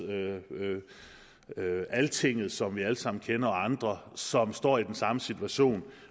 altinget som vi alle sammen kender og andre som står i den samme situation